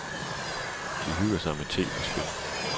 De hygger sig med te og spil.